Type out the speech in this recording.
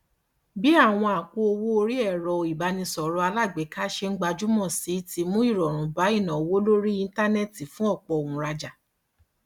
bí àwọn àpò owó orí ẹrọ ìbánisọrọ alágbèéká ṣe ń gbajúmọ sí ti mú ìrọrùn bá ìnáwó lórí íńtánẹẹtì fún ọpọ òǹràjà